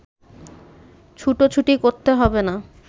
ছুটোছুটি করতে হবে না